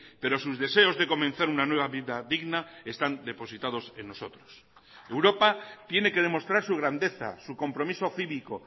pero sus deseos de comenzar una nueva vida digna están depositados en nosotros europa tiene que demostrar su grandeza su compromiso cívico